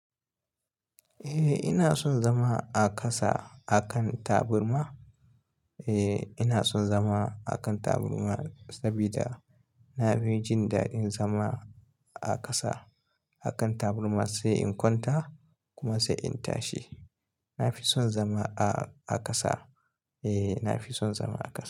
Eh ina son zama a ƙasa a kan taburma. Eh ina son zama a kan taburma saboda na fi jin daɗin zama a ƙasa. A kan taburma sai in kwanta kuma sai in tashi. Na fi son zama a, a ƙasa. Eh na fi son zama a ƙasa.